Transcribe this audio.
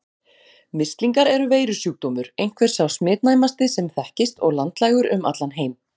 Mislingar eru veirusjúkdómur, einhver sá smitnæmasti sem þekkist og landlægur um allan heim.